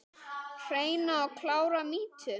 Hreina og klára mýtu?